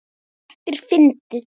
Þetta er fyndið.